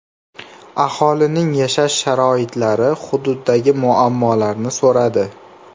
Aholining yashash sharoitlari, hududdagi muammolarni so‘radi.